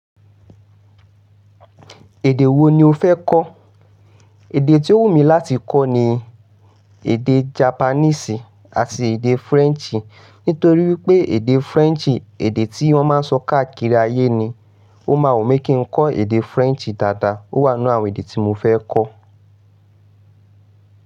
Èdè wo ni o fẹ́ kọ́? Èdè tí ó wù mí láti kọ́ ni èdè Japanese àti èdè French. Nítorí wípé èdè French, èdè tí wọ́n má ń sọ káàkiri ayé ni. Ó ma wù mí kí ń kọ́ èdè French dáadáa. Ó wà nínú àwọn èdè tí mo fẹ́ kọ́.